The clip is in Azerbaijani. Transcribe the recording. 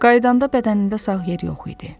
Qayıdanda bədənində sağ yer yox idi.